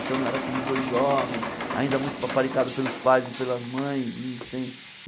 Então não era aqueles dois jovens, ainda muito paparicado pelos pais e pelas mães. E sem